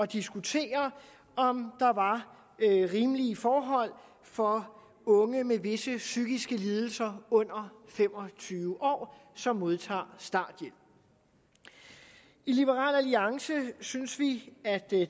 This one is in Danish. diskutere om der er rimelige forhold for unge med visse psykiske lidelser under fem og tyve år som modtager starthjælp i liberal alliance synes vi at det